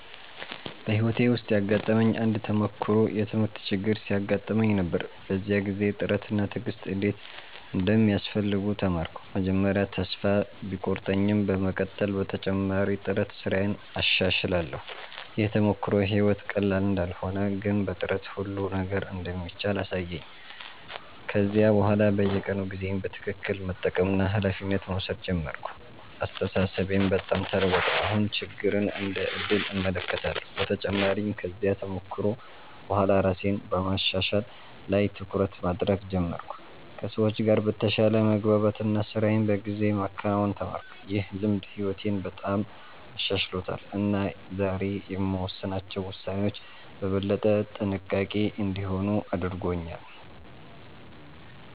በሕይወቴ ውስጥ ያጋጠመኝ አንድ ተሞክሮ የትምህርት ችግር ሲያጋጥመኝ ነበር። በዚያ ጊዜ ጥረት እና ትዕግሥት እንዴት እንደሚያስፈልጉ ተማርኩ። መጀመሪያ ተስፋ ቢቆርጠኝም በመቀጠል በተጨማሪ ጥረት ስራዬን አሻሽላለሁ። ይህ ተሞክሮ ሕይወት ቀላል እንዳልሆነ ግን በጥረት ሁሉ ነገር እንደሚቻል አሳየኝ። ከዚያ በኋላ በየቀኑ ጊዜዬን በትክክል መጠቀምና ኃላፊነት መውሰድ ጀመርኩ። አስተሳሰቤም በጣም ተለወጠ፤ አሁን ችግርን እንደ ዕድል እመለከታለሁ። በተጨማሪም ከዚያ ተሞክሮ በኋላ ራሴን በማሻሻል ላይ ትኩረት ማድረግ ጀመርኩ፣ ከሰዎች ጋር በተሻለ መግባባት እና ስራዬን በጊዜ ማከናወን ተማርኩ። ይህ ልምድ ሕይወቴን በጣም አሻሽሎታል እና ዛሬ የምወስናቸው ውሳኔዎች በበለጠ ጥንቃቄ እንዲሆኑ አድርጎኛል።